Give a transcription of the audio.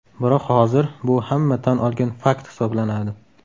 Biroq hozir bu hamma tan olgan fakt hisoblanadi.